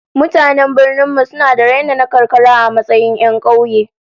Mutanen birnin mu suna da raina na karkara a matsayin 'yan kauye